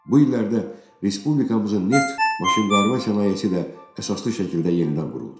Bu illərdə respublikamızın neft maşınqayırma sənayesi də əsaslı şəkildə yenidən quruldu.